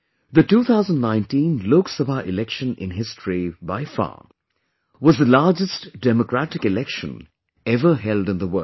The 2019 Lok Sabha Election in history by far, was the largest democratic Election ever held in the world